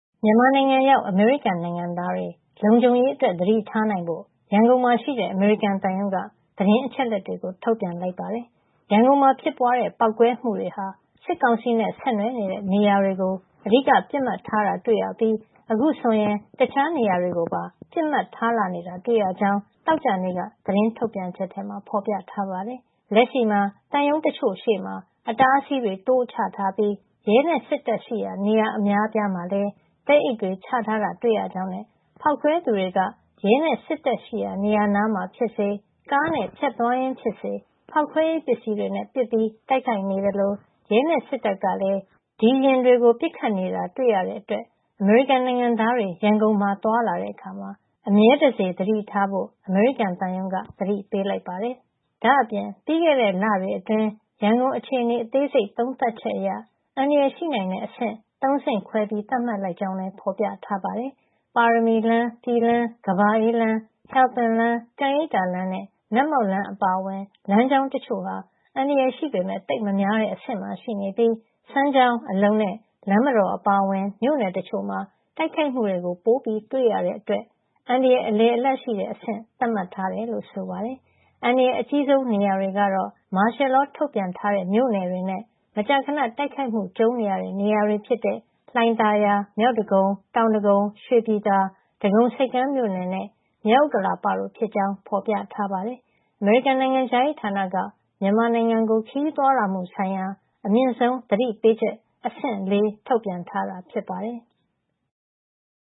မြန်မာနိုင်ငံရောက် အမေရိကန်နိုင်ငံသားတွေ လုံခြုံရေးအတွက် သတိထားနိုင်ဖို့ ရန်ကုန်မှာရှိတဲ့ အမေရိကန်သံရုံးက သတင်းအချက်အလက်တွေ ထုတ်ပြန်လိုက်ပါတယ်။ ရန်ကုန်မှာဖြစ်ပွားတဲ့ ပေါက်ကွဲမှုတွေဟာ စစ်ကောင်စီနဲ့ ဆက်နွှယ်တဲ့ နေရာတွေကို အဓိက ပစ်မှတ်ထားတာ တွေ့ရပြီး အခုဆိုရင် တခြားနေရာတွေကိုပါ ပစ်မှတ်ထားလာနေတာ တွေ့ရကြောင်း သောကြာနေ့က သတင်းထုတ်ပြန်ချက်မှာ ဖော်ပြထားပါတယ်။ လက်ရှိမှာ သံရုံးတချို့ရှေ့မှာ အတားအဆီးတွေ တိုးချထားပြီး ရဲနဲ့စစ်တပ်ရှိရာ နေရာအများအပြားမှာလည်း သဲအိတ်တွေချထားတာ တွေ့ရကြောင်းနဲ့ ဖောက်ခွဲသူတွေက ရဲနဲ့ စစ်တပ်ရှိရာ နေရာနားမှာဖြစ်စေ ကားနဲ့ ဖြတ်သွားရင်းဖြစ်စေ ဖောက်ခွဲရေးပစ္စည်းတွေနဲ့ ပစ်ပီး တိုက်ခိုက်နေသလို ရဲနဲ့စစ်တပ်ကလည်း ဒီယာဉ်တွေကို ပစ်ခတ်နေတာ တွေ့ရတဲ့အတွက် အမေရိကန်နိုင်ငံသားတွေ ရန်ကုန်မှာ သွားလာတဲ့အခါ အမြဲတစေ သတိထားဖို့ အမေရိကန်သံရုံးက သတိပေးလိုက်ပါတယ်။ ဒါ့အပြင် ပြီးခဲ့တဲ့လတွေအတွင်း ရန်ကုန်အခြေအနေ အသေးစိတ် သုံးသပ်ချက်အရ အန္တရာယ်ရှိနိုင်တဲ့ အဆင့် ၃ ဆင့်ခွဲ သတ်မှတ်လိုက်ကြောင်းလည်း ဖော်ပြထားပါတယ်။ ပါရမီလမ်း၊ ပြည်လမ်း၊ ကမ္ဘာအေးဘုရားလမ်း၊ ဟယ်လ်ပင်လမ်း၊ ကန်ရိပ်သာလမ်းနဲ့ နတ်မောက်လမ်း အပါအဝင် လမ်းကြောင်းတချို့ဟာ အန္တရာယ်ရှိပေမယ့် သိပ်မများတဲ့အဆင့်ရှိနေပြီး စမ်းချောင်း၊ အလုံနဲ့ လမ်းမတော် အပါအဝင် မြို့နယ်တချို့မှာ တိုက်ခိုက်မှုတွေ ပိုတွေ့ရတဲ့အတွက် အန္တရာယ် အလယ်အလတ်ရှိတဲ့ အဆင့် သတ်မှတ်ထားတယ်လို့ ဆိုပါတယ်။ အန္တရာယ်အကြီးဆုံး နေရာတွေကတော့ မာရှယ်လောထုတ်ထားတဲ့ မြို့နယ်တွေနဲ့ မကြာခဏ တိုက်ခိုက်မှုကြုံနေရတဲ့ နေရာတွေဖြစ်တဲ့ လှိုင်သာယာ၊ မြောက်ဒဂုံ၊ တောင်ဒဂုံ၊ ရွှေပြည်သာ၊ ဒဂုံဆိပ်ကမ်းမြို့နယ်နဲ့ မြောက်ဥက္ကလာပတို့ဖြစ်ကြောင်း ဖော်ပြထားပါတယ်။ အမေရိကန် နိုင်ငံခြားရေးဌာနက မြန်မာနိုင်ငံကို ခရီးသွားလာမှုဆိုင်ရာ အမြင့်ဆုံး သတိပေးချက် အဆင့် ၄ ထုတ်ပြန်ထားတာ ဖြစ်ပါတယ်။